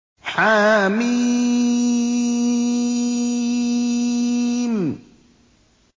حم